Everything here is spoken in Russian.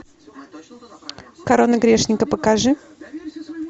корона грешника покажи